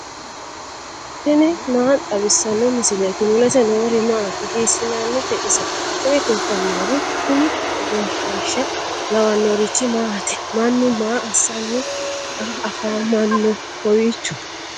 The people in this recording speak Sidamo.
tini maa xawissanno misileeti ? mulese noori maati ? hiissinannite ise ? tini kultannori kuni egenshshiisha lawannorichi maati mannu maa assanni afamanno kowiicho